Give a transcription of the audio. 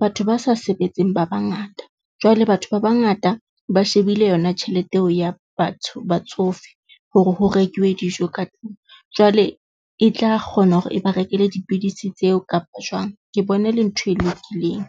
Batho ba sa sebetseng ba bangata, jwale batho ba bangata ba shebile yona tjhelete eo ya batho batsofe hore ho rekuwe dijo ka tlung jwale e tla kgona hore e ba rekele dipidisi tseo kapa jwang. Ke bone e le ntho e lokileng.